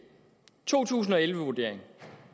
to tusind og elleve vurderingen